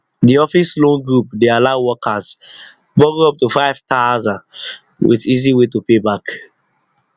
d office loan group de allow workers borrow up to 5000 with easy way to pay back